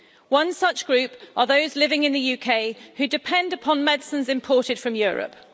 One such group are those living in the UK who depend upon medicines imported from Europe.